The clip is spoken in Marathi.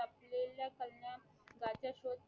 कल्याण वाचा शोध